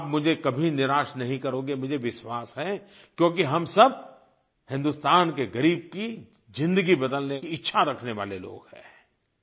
और आप मुझे कभी निराश नहीं करोगे मुझे विश्वास है क्योंकि हम सब हिंदुस्तान के ग़रीब की ज़िंदगी बदलने की इच्छा रखने वाले लोग हैं